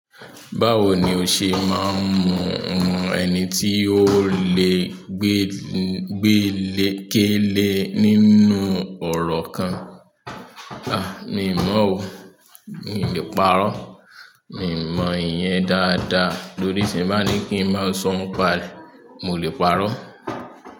Báwo ni o ṣe máa ń mọ ẹni tí o le gbé ké le nínú ọ̀rọ̀ kan? A mi i mọ́ o. Mi ò lè parọ́. Mi ò mọ ìyẹn dáadáa. Lórí ṣe ń bá ní kí ń máa sọ n pa rẹ, mo lè parọ́.